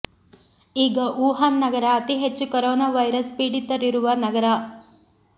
ಈಗ ವುಹಾನ್ ನಗರ ಅತಿ ಹೆಚ್ಚು ಕೊರೊನಾ ವೈರಸ್ ಪೀಡಿತರಿರುವ ನಗರ